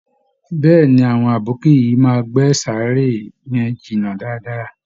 Bẹ́ẹ̀ ni, àwọn abókì yìí máa gbẹ́ sàárè yẹn jìn dáadáa